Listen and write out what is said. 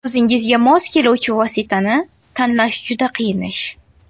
O‘zingizga mos keluvchi vositani tanlash juda qiyin ish.